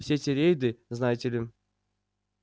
все эти рейды знаете ли